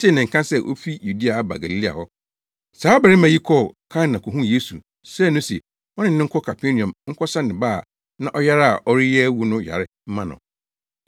tee ne nka sɛ ofi Yudea aba Galilea hɔ. Saa ɔbarima yi kɔɔ Kana kohuu Yesu, srɛɛ no se ɔne no nkɔ Kapernaum nkɔsa ne ba a na ɔyare a ɔreyɛ awu no yare mma no.